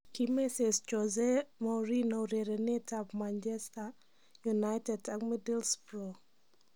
Kimesees Jose Mourinho urerenetab Manchester united ak Middlesbrough